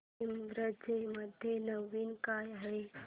ईबझ मध्ये नवीन काय आहे